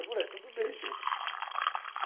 Eu falei, tudo bem, gente.